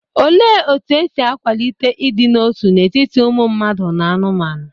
Olee otú e si kwalite ịdị n'otu n'etiti ụmụ mmadụ na anụmanụ?